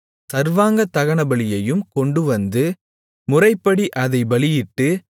சர்வாங்கதகனபலியையும் கொண்டுவந்து முறைப்படி அதைப் பலியிட்டு